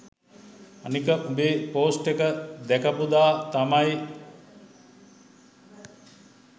අනික උඹේ පෝස්ට් එක දැකපු දා තමයි